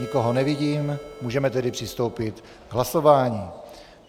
Nikoho nevidím, můžeme tedy přistoupit k hlasování.